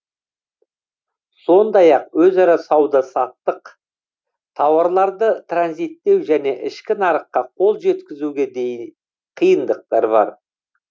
сондай ақ өзара сауда саттық тауарларды транзиттеу және ішкі нарыққа қол жеткізуге де қиындықтар бар